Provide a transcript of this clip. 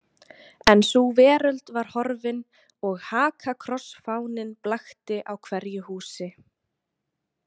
En sú veröld var horfin og hakakrossfáninn blakti á hverju húsi.